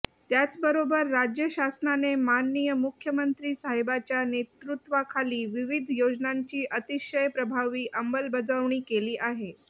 त्याच बरोबर राज्य शासनाने माननीय मुख्यमंत्री साहेबाच्या नेतूत्वाखाली विविध योजनांची अतिशय प्रभावी अमलबजावणी केली आहे